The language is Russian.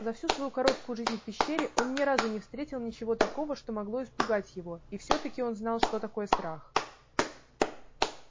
за всю свою короткую жизнь в пещере он ни разу не встретил ничего такого что могло испугать его и всё таки он знал что такое страх